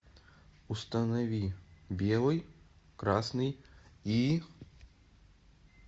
установи белый красный и